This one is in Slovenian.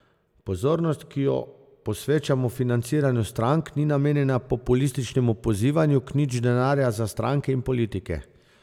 Pozornost, ki jo posvečamo financiranju strank, ni namenjena populističnemu pozivanju k nič denarja za stranke in politike.